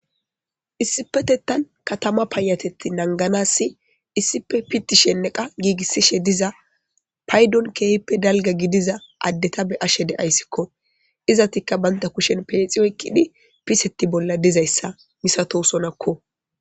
Issipetettan katama payatetti nanganassi issife pitishenneqa giigissishe diza paydon keefippe dalga gidiza addeta be ashe deayssikko izatikka baynta kushen peexi oykkidi piseti bolla dizayssa misato sonakko.